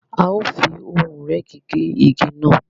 A o fí ohùn ìrẹ́gi gé ìgi náà